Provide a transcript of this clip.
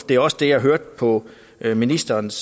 det er også det jeg hørte på ministerens